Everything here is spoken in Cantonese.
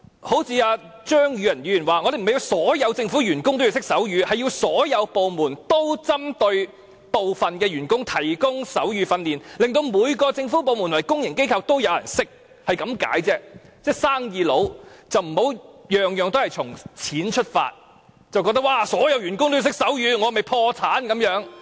對於張宇人議員的意見，我們並不是要求所有政府員工懂得手語，而是所有部門也應向部分員工提供手語訓練，令每個政府部門和公營機構也有人懂得手語，只是這個意思而已，請他們這些生意人不要事事從錢出發，覺得如果所有員工也要懂得手語，豈非要破產？